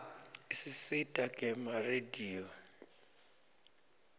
isisita gema rediyo